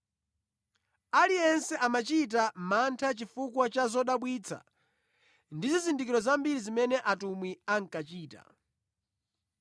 Aliyense ankachita mantha chifukwa cha zodabwitsa ndi zizindikiro zambiri zimene atumwi ankachita.